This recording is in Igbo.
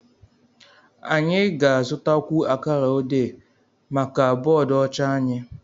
anyị ga-azụtakwu akara odé maka bọọdụ ọcha anyị